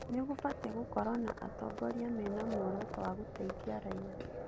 Nĩ gũbatie gũkorũo na atongoria mĩna muoroto wa gũteithia raiya.